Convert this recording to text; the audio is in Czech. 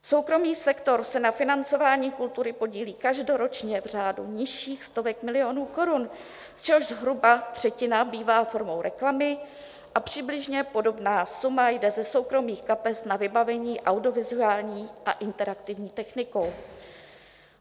Soukromý sektor se na financování kultury podílí každoročně v řádu nižších stovek milionů korun, z čehož zhruba třetina bývá formou reklamy, a přibližně podobná suma jde ze soukromých kapes na vybavení audiovizuální a interaktivní technikou.